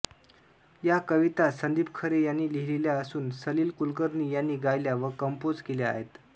या कविता संदीप खरे यांनी लिहिलेल्या असून सलिल कुलकर्णी यांनी गायल्या व कम्पोज केल्या आहेत